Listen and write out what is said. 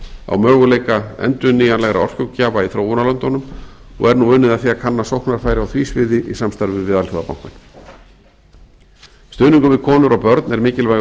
á möguleika endurnýjanlegra orkugjafa í þróunarlöndunum og er nú unnið að því að kanna sóknarfæri á því sviði í samstarfi við alþjóðabankann stuðningur við konur og börn er mikilvægur þáttur